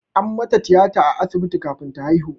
An mata tiyata a asibiti kafin ta haihu.